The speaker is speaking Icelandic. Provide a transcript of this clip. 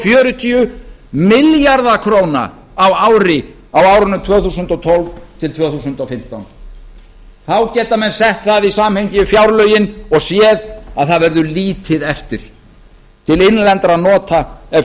fjörutíu milljarða króna á ári á árunum tvö þúsund og tólf til tvö þúsund og fimmtán menn geta þá sett það í samhengi við fjárlögin og séð að lítið verður eftir til innlendra nota ef